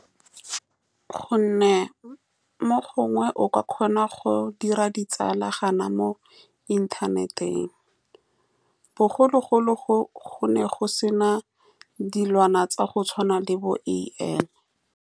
Ka gonne mo gongwe o ka kgona go dira ditsalanyana mo inthaneteng, bogologolo go, gone go se na dilwana tsa go tshwana le bo-A_I.